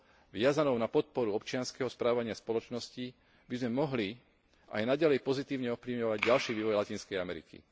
viazanou na podporu občianskeho správania spoločnosti by sme mohli aj naďalej pozitívne ovplyvňovať ďalší vývoj Latinskej Ameriky.